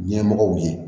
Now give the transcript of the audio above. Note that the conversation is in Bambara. Ɲɛmɔgɔw ye